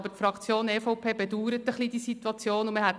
Aber die Fraktion EVP bedauert die Situation ein bisschen.